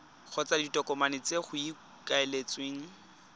kgotsa ditokomane tse go ikaeletsweng